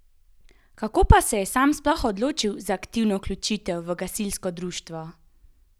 Kako pa se je sam sploh odločil za aktivno vključitev v gasilsko društvo?